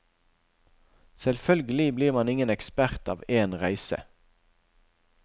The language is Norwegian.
Selvfølgelig blir man ingen ekspert av en reise.